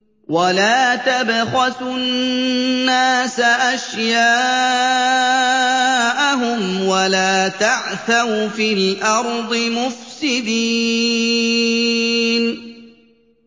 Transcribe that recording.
وَلَا تَبْخَسُوا النَّاسَ أَشْيَاءَهُمْ وَلَا تَعْثَوْا فِي الْأَرْضِ مُفْسِدِينَ